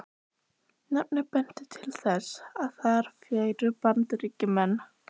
Nafnið benti til þess, að þar færu Bandaríkjamenn.